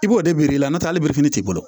I b'o de biri i la n'otɛ hali t'i bolo